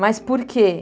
Mas por quê?